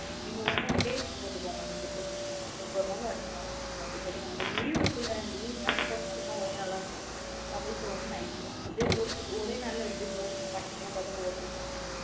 நீங்க one one day போட்டுகோங்க ticket உ. இன்னைக்கு ஒரு நாள் அடுத்த நாள் அப்டி போட்டுகோங்க. உங்களுக்கு leave இருக்குலா? leave இருந்த இண்ணைக்கு போடுங்க இல்லேன்னா ஒரே நாள் அஹ இருந்த பகல் show ஒன்னு night show. ஒரே நாள் ரெண்டு show உம் continue ஆ பாத்த bore அடிச்சிரும்ன்ல.